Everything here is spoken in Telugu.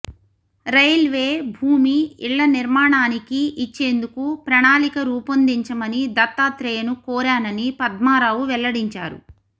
రైల్వే భూమి ఇళ్ళ నిర్మాణానికి ఇచ్చేందుకు ప్రణాళిక రూపొందించమని దత్తాత్రేయను కోరానని పద్మారావు వెల్లడించారు